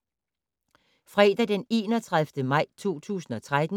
Fredag d. 31. maj 2013